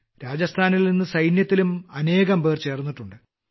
രാജസ്ഥാനിൽ നിന്ന് സൈന്യത്തിലും അനേകംപേർ ചേർന്നിട്ടുണ്ട്